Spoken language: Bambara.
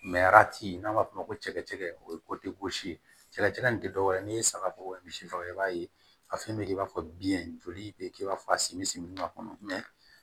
n'an b'a f'o ma ko cɛkɛ o ye ye cɛlaci in tɛ dɔ wɛrɛ ye ni ye saga faga o ye misi faga i b'a ye a fɛn bɛ kɛ i b'a fɔ biyɛn joli bɛ kɛ i b'a fɔ a simi si min b'a kɔnɔ